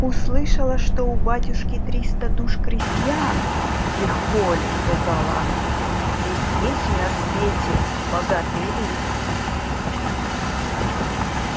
услышала что у батюшки триста душ крестьян легко ли сказала она ведь есть же на свете богатые люди